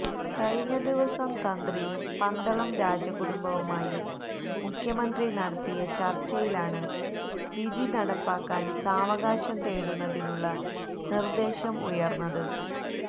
കഴിഞ്ഞദിവസം തന്ത്രിയും പന്തളം രാജകുടുംബവുമായി മുഖ്യമന്ത്രി നടത്തിയ ചര്ച്ചയിലാണ് വിധി നടപ്പാക്കാന് സാവകാശം തേടുന്നതിനുളള നിര്ദേശം ഉയര്ന്നത്